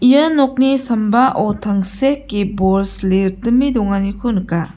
ia nokni sambao tangseke bol sile ritime donganiko nika.